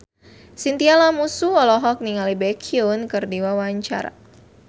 Chintya Lamusu olohok ningali Baekhyun keur diwawancara